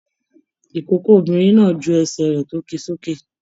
Ikòkò obìnrin náà jù ẹsẹ rẹ tó kí sókè.